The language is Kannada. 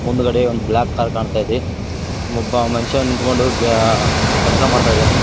ಮುಂದುಗಡೆ ಒಂದು ಬ್ಲಾಕ್ ಕಾರ್ ಕಾಣ್ತಾ ಇದೆ ಒಬ್ಬ ಮನುಷ್ಯ ನಿಂತ್ಕೊಂಡು ಆ ಕೆಲಸ ಮಾಡ್ತಾ ಇದ್ದಾನೆ.